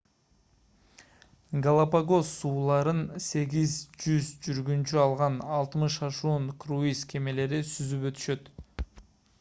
галапагос сууларын 8-100 жүргүнчү алган 60 ашуун круиз кемелери сүзүп өтүшөт